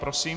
Prosím.